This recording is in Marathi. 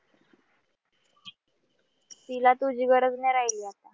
तिला तुझी गरज नई राहिली आता